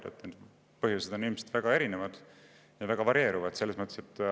Põhjused, on ilmselt väga erinevad ja varieeruvad.